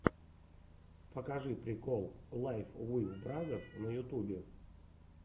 покажи прикол лайф уив бразерс на ютубе